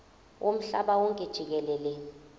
womhlaba wonke jikelele